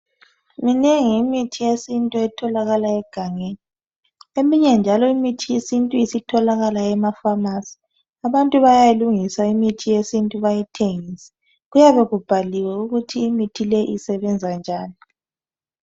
Minengi imithi yesintu etholakala egangeni. Eminye njalo imithi yesintu isitholakala ema Famasi. Abantu bayayilungisa imithi yesintu bayithengise. Kuyabe kubhaliwe ukuthi imithi leyo isebenza njani.